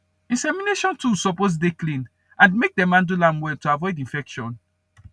insemination tools suppose dey clean and make dem handle am well to avoid infection